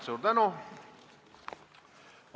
Suur tänu!